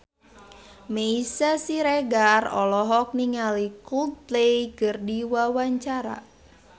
Meisya Siregar olohok ningali Coldplay keur diwawancara